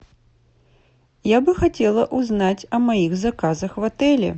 я бы хотела узнать о моих заказах в отеле